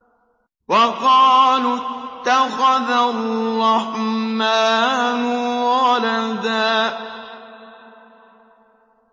وَقَالُوا اتَّخَذَ الرَّحْمَٰنُ وَلَدًا